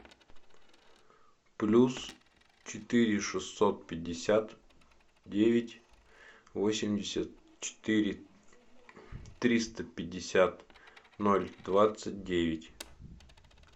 плюс четыре шестьсот пятьдесят девять восемьдесят четыре триста пятьдесят ноль двадцать девять